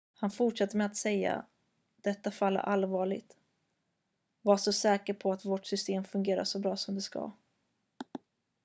"han fortsatte med att säga: "detta fall är allvarligt. var så säker på att vårt system fungerar så bra som det ska.""